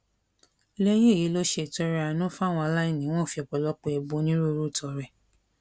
lẹyìn èyí ló ṣe ìtọrẹ àánú fáwọn aláìní wọn fi ọpọlọpọ ẹbùn onírúurú tọrẹ